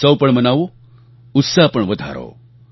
ઉત્સવ પણ મનાવો ઉત્સાહ પણ વધારો